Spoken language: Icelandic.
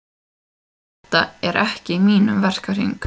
Þetta er ekki í mínum verkahring.